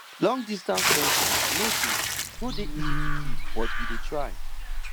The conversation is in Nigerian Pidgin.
longdistance friendship no dey no dey easy to keep but we dey try